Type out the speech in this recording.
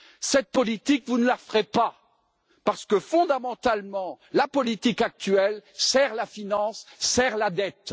Cette politique, vous ne la ferez pas, parce que, fondamentalement, la politique actuelle sert la finance et sert la dette.